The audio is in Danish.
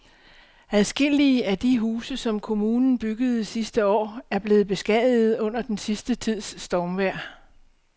Adskillige af de huse, som kommunen byggede sidste år, er blevet beskadiget under den sidste tids stormvejr.